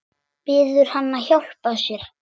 Biður hann að hjálpa sér.